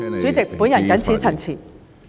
主席，我謹此陳辭。